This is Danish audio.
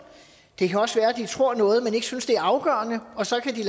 det kan også være de tror noget men ikke synes det er afgørende og så kan de